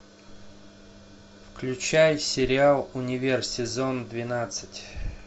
включай сериал универ сезон двенадцать